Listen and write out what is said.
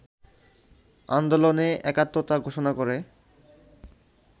আন্দোলনে একাত্মতা ঘোষণা করে